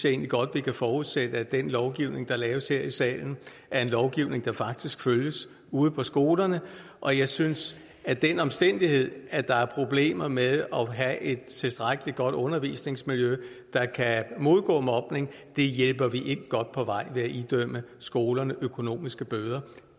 egentlig godt vi kan forudsætte at den lovgivning der laves her i salen er en lovgivning der faktisk følges ude på skolerne og jeg synes at den omstændighed at der er problemer med at have et tilstrækkelig godt undervisningsmiljø der kan modgå mobning betyder det hjælper vi ikke godt på vej ved at idømme skolerne økonomiske bøder